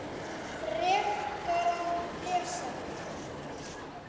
Frekara lesefni